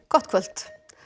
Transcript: gott kvöld